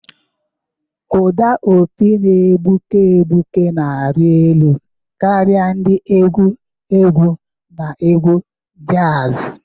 Ụda opi na-egbuke egbuke na-arị elu karịa ndị egwu egwu na egwu jazi.